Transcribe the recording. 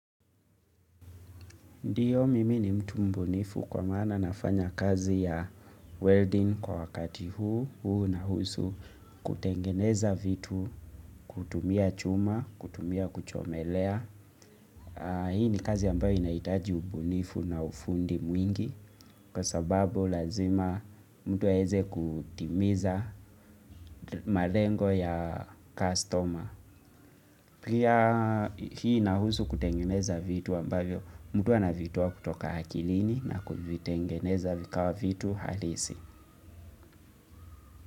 Ndiyo, mimi ni mtu mbunifu kwa maana nafanya kazi ya welding kwa wakati huu. Huu unahusu kutengeneza vitu kutumia chuma, kutumia kuchomelea. Hii ni kazi ambayo inahitaji ubunifu na ufundi mwingi kwa sababu lazima mtu aweze kutimiza malengo ya customer. Pia hii inahusu kutengeneza vitu ambayo mtu anavitoa kutoka akilini na kuvitengeneza vikawa vitu halisi.